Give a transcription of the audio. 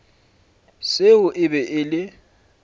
seo e bego e le